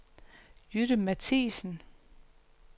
Jytte Matthiesen